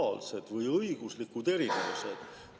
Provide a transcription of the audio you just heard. " Aga kui ta ei võta, siis kuidas saab üks võõras laps temast põlvneda?